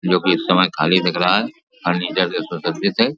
जो कि इस समय खाली दिख रहा है। फर्नीचर के से --